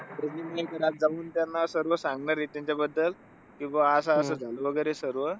प्रवीण मयेकर आज जाऊन त्यांना सर्व सांगणार आहे त्यांच्याबद्दल कि बा असं-असं झालं बरं सर्व.